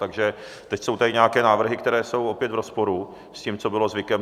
Takže teď jsou tady nějaké návrhy, které jsou opět v rozporu s tím, co bylo zvykem.